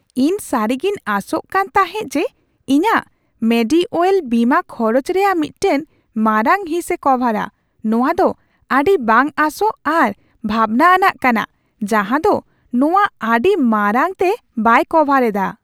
ᱤᱧ ᱥᱟᱹᱨᱤᱜᱤᱧ ᱟᱥᱚᱜ ᱠᱟᱱ ᱛᱟᱦᱮᱸ ᱡᱮ ᱤᱧᱟᱹᱜ ᱢᱮᱰᱤᱼᱳᱭᱮᱞ ᱵᱤᱢᱟᱹ ᱠᱷᱚᱨᱚᱪ ᱨᱮᱭᱟᱜ ᱢᱤᱫᱴᱟᱝ ᱢᱟᱨᱟᱝ ᱦᱤᱸᱥᱮ ᱠᱚᱵᱷᱟᱨᱟ ᱾ᱱᱚᱶᱟ ᱫᱚ ᱟᱹᱰᱤ ᱵᱟᱝ ᱟᱥᱚᱜ ᱟᱨ ᱵᱷᱟᱵᱱᱟ ᱟᱱᱟᱜ ᱠᱟᱱᱟ ᱡᱟᱦᱟᱸ ᱫᱚ ᱱᱚᱶᱟ ᱟᱹᱰᱤ ᱢᱟᱨᱟᱝᱛᱮ ᱵᱟᱭ ᱠᱟᱵᱷᱟᱨ ᱮᱫᱟ ᱾